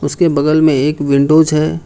उसके बगल में एक विंडोज है।